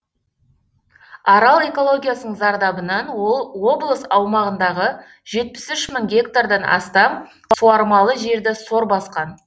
арал экологиясының зардабынан облыс аумағындағы жетпіс үш мың гектардан астам суармалы жерді сор басқан